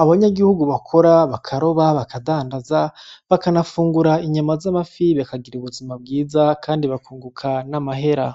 abanyagihugu bakora bakaroba bakadandaza bakanafungura inyama z'amafi bakagira ubuzima bwiza kandi bakunguka n'amahera.